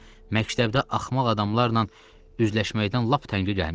Məktəbdə axmaq adamlarla üzləşməkdən lap təngə gəlmişdim.